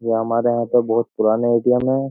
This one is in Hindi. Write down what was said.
ये हमारे यहाँ पर बहुत पुराने एरिया में है।